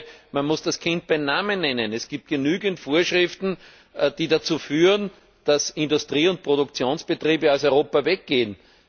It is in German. Ich glaube, man muss das Kind beim Namen nennen. Es gibt genügend Vorschriften, die dazu führen, dass Industrie und Produktionsbetriebe aus Europa weggehen.